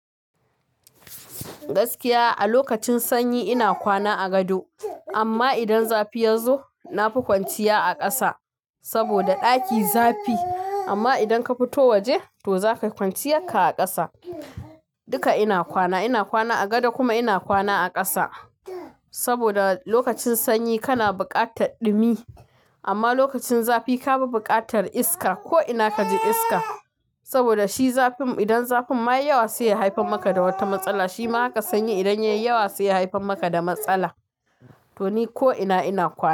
Gaskiya a lokacin sanyi ina kwana a gado amma idan zafi yazo nafi kwanciya a ƙasa saboda ɗaki zafi. Amma idan ka fito waje to zaka yi kwanciya ka a ƙasa. Duka ina kwana, ina kwana a gado kuma ina kwana a ƙasa saboda lokacin sanyi kana buƙatar ɗumi amma lokacin zafi ka fi buƙatar iska ko ina kaji iska. Saboda shi zafin idan zafin ma yai yawa sai ya haifar maka da wata matsala. Shi ma haka sanyi idan yayi yawa sai ya haifar maka da matsala to ni ko ina ina kwana.